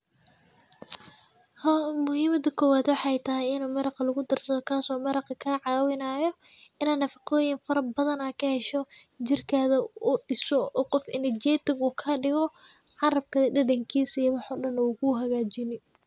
Muhiimada kowad waxa waye inii maraqa lugudarsado kaso kacawinayo inii nafaqoyin kahesho oo jirkada diso oo qof energetic kadigo carabka dadankisa iyo wax walbo kuhagajini.